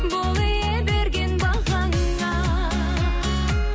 бол ие берген бағаңа